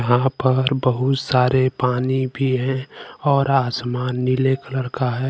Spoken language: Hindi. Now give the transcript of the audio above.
यहां पर बहुत सारे पानी भी है और आसमान नीले कलर का है।